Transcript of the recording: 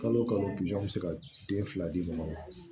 Kalo o kalo bɛ se ka den fila di mɔgɔ ma